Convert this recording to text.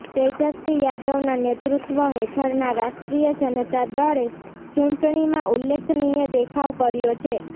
તેજસ્વી યાદવના નેતૃત્ત્વ હેઠળના રાષ્ટ્રીય જનતા દળે ચૂંટણીમાં ઉલ્લેખનીય દેખાવ કર્યો છે